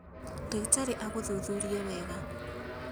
Ndagĩtarĩ agũthuthurie wega